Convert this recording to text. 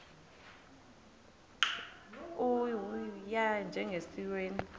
u y njengesiwezi